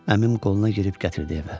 Əmim qoluna girib gətirdi evə.